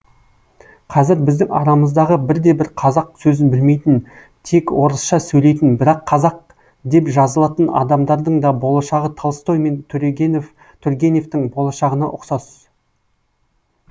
кәзір біздің арамыздағы бірде бір қазақ сөзін білмейтн тек орысша сөйлейтін бірақ қазақ деп жазылатын адамдардың да болашағы толстой мен тургеневтің болашағына ұқсас